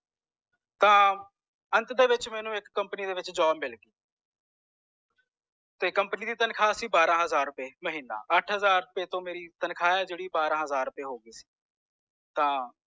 ਤਾਂ ਅੰਤ ਦੇ ਵਿਚ ਮੈਨੂੰ ਇਕ company ਦੇ ਵਿਚ ਜੋਬ ਮਿਲਗੀ ਤੇ company ਦੀ ਤੰਖਾ ਸੀ ਬੜਾ ਹਜ਼ਾਰ ਰੁਪਏ ਅੱਠ ਹਜ਼ਾਰ ਰੁਪਏ ਤੌਂ ਮੇਰੀ ਜੇੜੀ ਤਨਖਾਹ ਓਹ ਬਾਰਹ ਹਜ਼ਾਰ ਰੁਪਏ ਹੋਗੀ ਸੀ ਤਾਂ